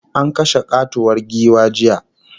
An kashe katuwar giwa jiya